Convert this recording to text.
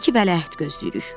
Dedi ki, vələhd gözləyirik.